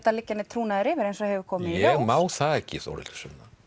að liggja neinn trúnaður yfir eins og hefur komið í ljós ég má það ekki Þórhildur Sunna